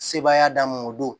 Sebaaya d'an ma o don